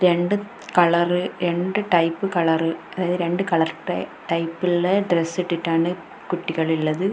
രണ്ട് കളറ് രണ്ട് type colour അതായത് രണ്ട് കളർ ട ടൈപ്പുള്ളെ ഡ്രെസ്സിട്ടിട്ടാണ് കുട്ടികൾ ഇള്ളത്.